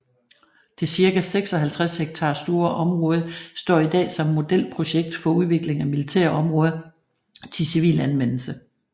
Det cirka 56 ha store område står i dag som modelprojekt for udvikling af militære områder til civil anvendelse